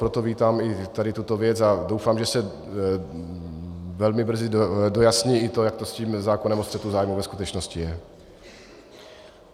Proto vítám i tady tuto věc a doufám, že se velmi brzy dojasní i to, jak to s tím zákonem o střetu zájmu ve skutečnosti je.